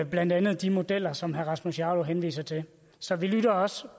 blandt andet de modeller som herre rasmus jarlov henviser til så vi lytter også